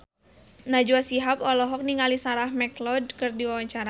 Najwa Shihab olohok ningali Sarah McLeod keur diwawancara